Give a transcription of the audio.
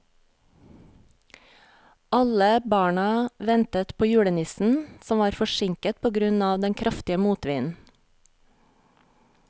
Alle barna ventet på julenissen, som var forsinket på grunn av den kraftige motvinden.